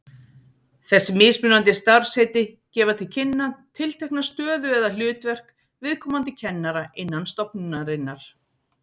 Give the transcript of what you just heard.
Þessi mismunandi starfsheiti gefa til kynna tiltekna stöðu eða hlutverk viðkomandi kennara innan stofnunarinnar.